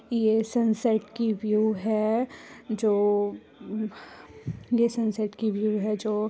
ये सनसेट की व्यू है जो ये सनसेट की व्यू है जो--